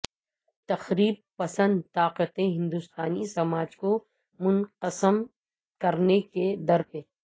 تخریب پسند طاقتیں ہندوستانی سماج کو منقسم کرنے کے درپے